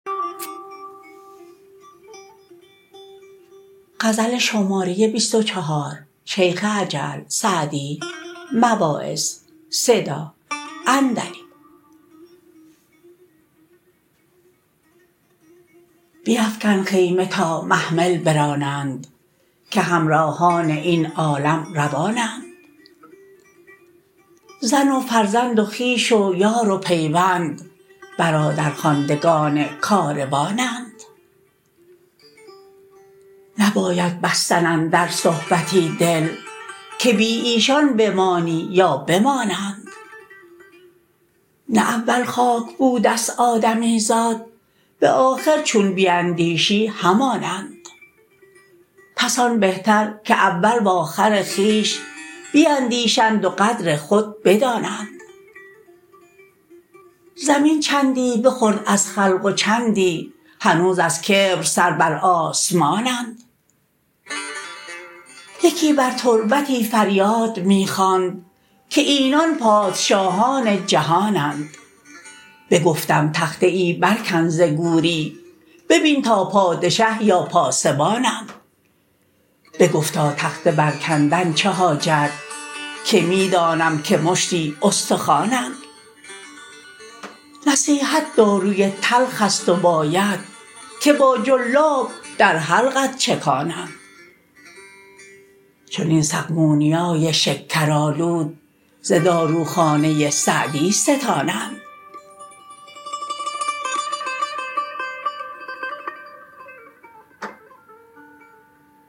بیفکن خیمه تا محمل برانند که همراهان این عالم روانند زن و فرزند و خویش و یار و پیوند برادرخواندگان کاروانند نباید بستن اندر صحبتی دل که بی ایشان بمانی یا بمانند نه اول خاک بوده ست آدمیزاد به آخر چون بیندیشی همانند پس آن بهتر که اول وآخر خویش بیندیشند و قدر خود بدانند زمین چندی بخورد از خلق و چندی هنوز از کبر سر بر آسمانند یکی بر تربتی فریاد می خواند که اینان پادشاهان جهانند بگفتم تخته ای بر کن ز گوری ببین تا پادشه یا پاسبانند بگفتا تخته بر کندن چه حاجت که می دانم که مشتی استخوانند نصیحت داروی تلخ است و باید که با جلاب در حلقت چکانند چنین سقمونیای شکرآلود ز داروخانه سعدی ستانند